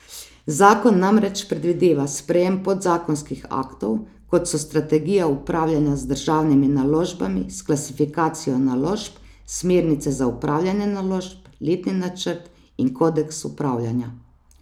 Zakon namreč predvideva sprejem podzakonskih aktov, kot so strategija upravljanja z državnimi naložbami s klasifikacijo naložb, smernice za upravljanje naložb, letni načrt in kodeks upravljanja.